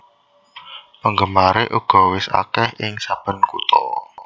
Penggemaré uga wis akèh ing saben kutha